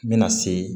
N bɛna se